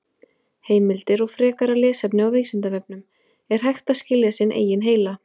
Heimildir og frekara lesefni á Vísindavefnum: Er hægt að skilja sinn eigin heila?